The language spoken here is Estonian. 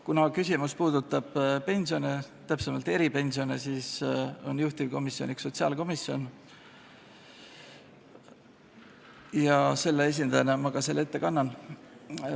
Kuna küsimus puudutab pensione, täpsemalt eripensione, siis on juhtivkomisjon sotsiaalkomisjon ja selle esindajana ma selle tutvustuse ette kannan.